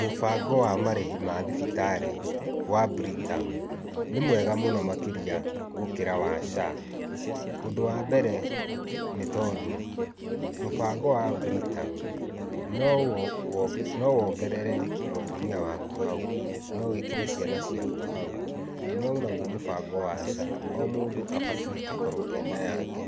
Mũbango wa marĩhi ma thibitarĩ wa Britam, nĩ mwega mũno makĩria gũkĩra wa SHA. Ũndũ wa mbere nĩ tondũ mũbango wa Britam nowongerere mũtumia waku hau, no wĩkĩre ciana ciaku hau, no naguo mũbango wa SHA, o mũndũ abatiĩ akorwo ena yake.